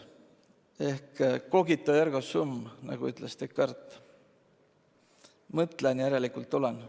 Ehk cogito, ergo sum, nagu ütles Descartes – mõtlen, järelikult olen.